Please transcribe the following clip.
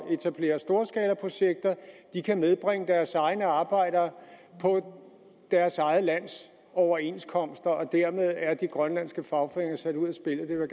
etablere storskalaprojekter kan nedbringe deres egne arbejdere og på deres eget lands overenskomster dermed er de grønlandske fagforeninger jo sat ud af spillet det vil